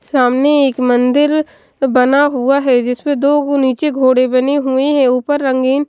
सामने एक मंदिर बना हुआ है जिसमें दो गु नीचे घोड़े बने हुए हैं ऊपर रंगीन --